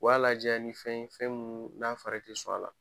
O b'a lajɛya ni fɛn ye fɛn mun n'a fɔra i ye i tɛ sɔn a la.